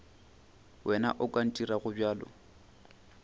wena o ka ntirago bjalo